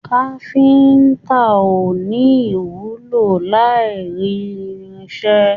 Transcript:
Káfíntà o ní ìwúlò l'aini irinṣẹ́.